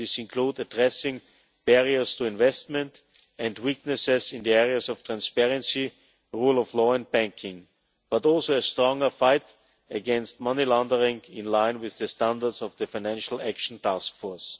These include addressing barriers to investment and weaknesses in the areas of transparency, the rule of law and banking, but also a stronger fight against money laundering in line with the standards of the Financial Action Task Force.